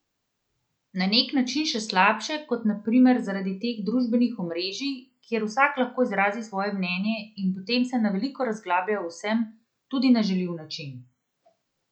Na nek način še slabše, kot na primer zaradi teh družbenih omrežij, kjer vsak lahko izrazi svoje mnenje in potem se na veliko razglablja o vsem, tudi na žaljiv način.